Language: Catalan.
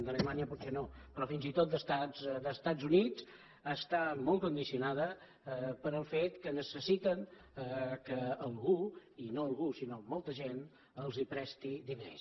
d’alemanya potser no però fins i tot dels estat units està molt condicionat pel fet que necessiten que algú i no algú sinó molta gent els presti diners